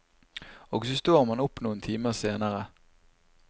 Og så står man opp noen timer senere.